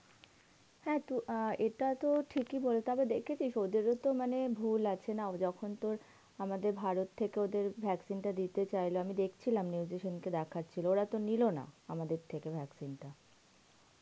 হ্যাঁ তো অ্যাঁ এটা তো ঠিকই বলে, তবে তুই দেখেছিস ওদের ও তো মানে ভুল আছে মানে যখন তোর আমাদের ভারত থাকে ওদের vaccine টা দিতে চাইল আমি দেখছিলাম news এ সে দিন দেখছিল ওরা তো নিল না, আমাদের থাকে নিলো না vaccines টা.